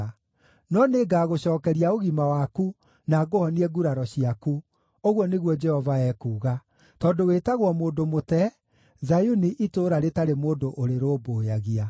No nĩngagũcookeria ũgima waku, na ngũhonie nguraro ciaku,’ ũguo nĩguo Jehova ekuuga, ‘tondũ wĩtagwo mũndũ mũte, Zayuni itũũra rĩtarĩ mũndũ ũrĩrũmbũyagia.’